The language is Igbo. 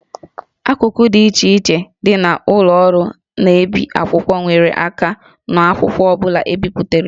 Akụkụ dị iche iche dị na ụlọ ọrụ na-ebi akwụkwọ nyere aka n'akwụkwọ ọ bụla e bipụtara